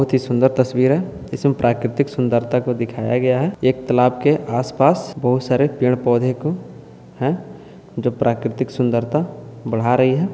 बहुत ही सुंदर तस्वीर है इसमें प्रकर्तिक सुंदरता को दिखाया गया है एक तालाब के आस-पास बहुत सारे पेड़-पोधे को है जो प्रकर्तिक सुंदरता बड़ा रही है।